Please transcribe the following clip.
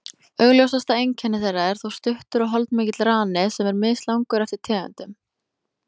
Augljósasta einkenni þeirra er þó stuttur og holdmikill rani, sem er mislangur eftir tegundum.